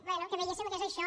bé que veiéssem que és això